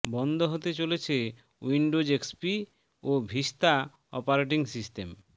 বন্ধ হতে চলছে উইন্ডোজ এক্সপি ও ভিস্তা অপারেটিং সিস্টেম